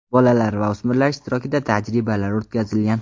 Bolalar va o‘smirlar ishtirokida tajribalar o‘tkazilgan.